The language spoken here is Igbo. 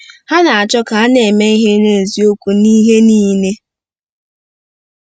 Ha ‘na-achọ ka ha na-eme ihe n’eziokwu n’ihe niile. '